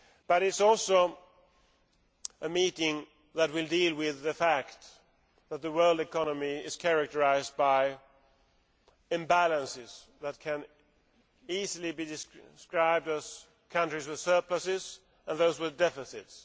It is also a meeting that will deal with the fact that the world economy is characterised by imbalances that can easily be described as countries with surpluses and those with deficits.